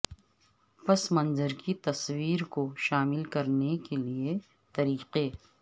پس منظر کی تصویر کو شامل کرنے کے لئے طریقے